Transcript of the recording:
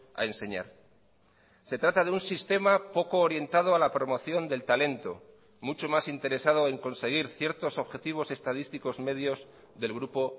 a enseñar se trata de un sistema poco orientado a la promoción del talento mucho más interesado en conseguir ciertos objetivos estadísticos medios del grupo